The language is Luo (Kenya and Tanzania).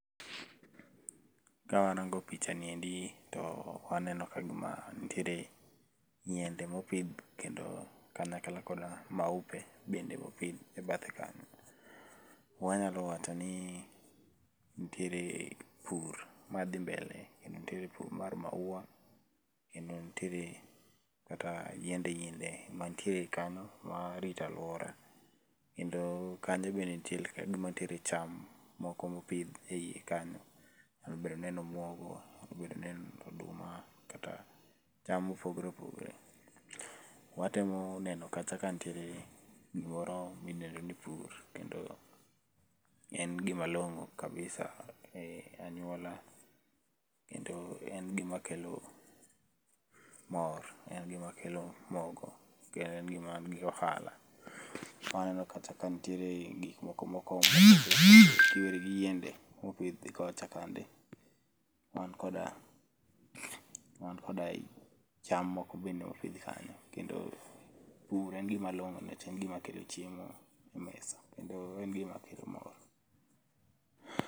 Ka arango pichani endi to aneno ka gima nitiere yiende ma opidhi kendo kare kanyakla koda maupe bende opidh ebathe kanyo. Wanyalo wacho nii nitiere pur madhii mbele kendo nitiere pur mar maua kendo nitiere kaka yiende yiende manitiere kanyo ma orita aluora. Kendo kanyo bende nitiere ka gima nitiere cham moko mopidh eyi kanyo, nyalo bedo ni en omuogo, nyalo bedo ni en oduma kata cham mopogore opogore. Watemo neno kacha ka nitiere gimoro midendo ni pur kendo en gima long'o kabisa eyi anyuola kendo en gima kelo mor, en gima kelo mogo, kendo en gima mangi ohala. Aneno kacha ka nitiere gik moko[----] ki werigi yiende mopidh kocha kande wan koda wan koda cham moko bende opidh kanyo kendo pur en gima long'o nikech en gima kelo chiemo e mesa kendo en gima kelo mor.